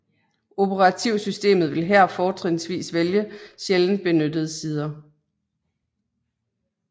Operativsystemet vil her fortrinsvis vælge sjældent benyttede sider